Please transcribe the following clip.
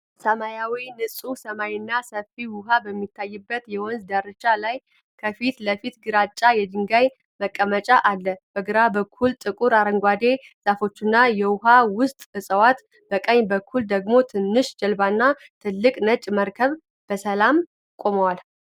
ሰማያዊ ንጹህ ሰማይና ሰፊ ውሃ በሚታይበት የወንዝ ዳርቻ ላይ፣ ከፊት ለፊት ግራጫ የድንጋይ መቀመጫ አለ። በግራ በኩል ጥቁር አረንጓዴ ዛፎችና የውሃ ውስጥ እጽዋት፣ በቀኝ በኩል ደግሞ ትንሽ ጀልባና ትልቅ ነጭ መርከብ በሰላም ቆመዋል።